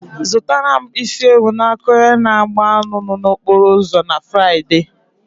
Zụrụtara m isi ewu n'aka onye na egbh anụ nno na okporo ụzọ na Fraịde.